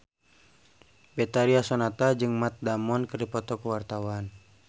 Betharia Sonata jeung Matt Damon keur dipoto ku wartawan